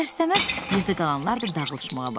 İstər-istəməz yerdə qalanlar da dağılışmağa başladı.